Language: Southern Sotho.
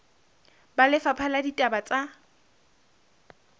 ba lefapha la ditaba tsa